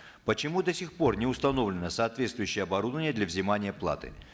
почему до сих пор не установлено соответствующее оборудование для взимания платы